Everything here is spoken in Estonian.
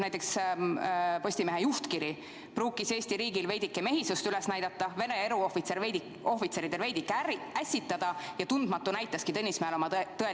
Näiteks Postimehe juhtkirjas kirjutati: "Pruukis aga Eesti riigil veidike mehisust üles näidata, Vene eruohvitseridel veidike ässitada ja tundmatu näitaski Tõnismäel oma tõelist palet.